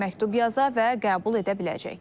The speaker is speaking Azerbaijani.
Məktub yaza və qəbul edə biləcək.